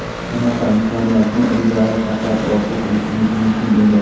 Bunaqa imkoniyatni ilgari faqat orzu qilishimiz mumkin edi.